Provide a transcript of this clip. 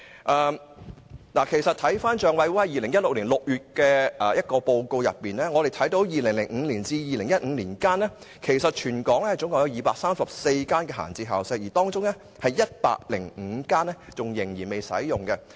根據政府帳目委員會2016年6月的報告，在2005年至2015年間，全港共有234間閒置校舍，當中有105間仍然未使用。